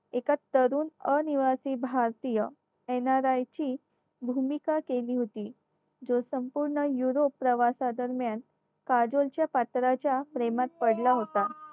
एका तरुण अनिवासी भारतीय NRI ची भूमिका केली होती जो संपूर्ण Europe प्रवासादरम्यान काजोल पात्राच्या प्रेमात पडला होता